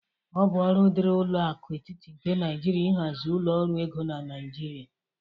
Ọ bụ ọrụ dịrị ụlọ aku etịtị nke Naịjirịa ịhazi ụlọ ọrụ ego na Naịjirịa